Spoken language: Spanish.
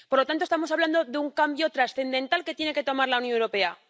Por lo tanto, estamos hablando de un cambio trascendental que tiene que adoptar la Unión Europea.